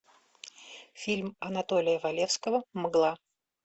фильм анатолия валевского мгла